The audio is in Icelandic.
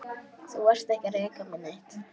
Þú varst ekki að reka mig neitt.